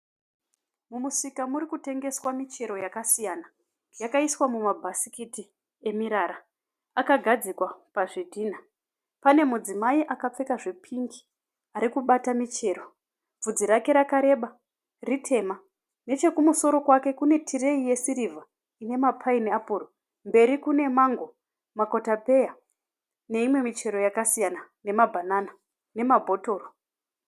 Mumusika muri kutengeswa michero yakasiyana. Yakaiswa mumabhasikiti emirara. Akagadzikwa pazvidhinha. Pane mudzimai akapfeka zvepingi ari kubata michero. Bvudzi rake rakareba riri dema. Nechekumusoro kwake kune tireyi yesirivha ine mapayiniapuro. Mberi kune mango, makotapeya neyimwe michero yakasiyana. Nemabhanana nemabhotoro.